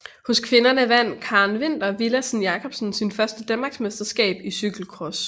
Hos kvinderne vandt Karen Vinther Villadsen Jacobsen sit første danmarksmesterskab i cykelcross